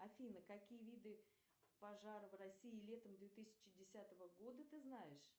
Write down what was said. афина какие виды пожар в россии летом две тысячи десятого года ты знаешь